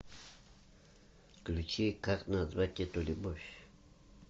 включи как назвать эту любовь